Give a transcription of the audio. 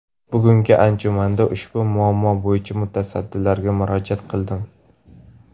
Bugungi anjumanda ushbu muammo bo‘yicha mutasaddilarga murojaat qildim.